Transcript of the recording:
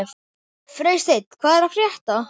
Freysteinn, hvað er að frétta?